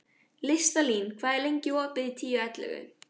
Listalín, hvað er lengi opið í Tíu ellefu?